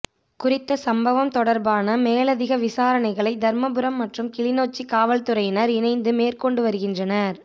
குறித்த சம்பவம் தொடர்பான மேலதிக விசாரணைகளை தர்மபுரம் மற்றும் கிளிநொச்சிக் காவல்துறையினர் இணைத்து மேற்கொண்டு வருகின்றனர்